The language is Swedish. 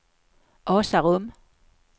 Asarum